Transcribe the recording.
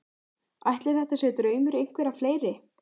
Ætli þetta sé draumur einhverra fleiri?